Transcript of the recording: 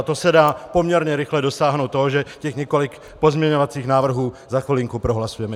A to se dá poměrně rychle dosáhnout toho, že těch několik pozměňovacích návrhů za chvilinku prohlasujeme.